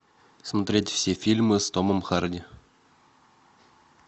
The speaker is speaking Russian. смотреть все фильмы с томом харди